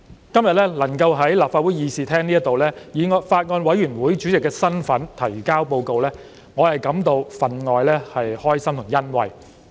今天能夠在立法會議事廳以法案委員會主席的身份提交報告，我感到分外高興和欣慰。